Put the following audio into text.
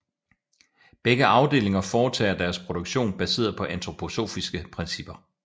Begge afdelinger foretager deres produktion baseret på antroposofiske principper